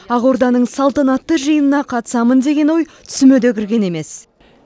ақорданың салтанатты жиынына қатысамын деген ой түсіме де кірген емес